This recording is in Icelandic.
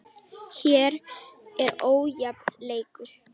Hér var ójafn leikur.